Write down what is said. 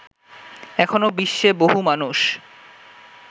এখনো বিশ্বে বহু মানুষ